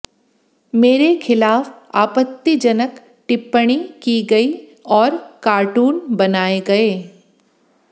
मेरे खिलाफ आपत्तिजनक टिप्पणी की गई और कार्टून बनाए गए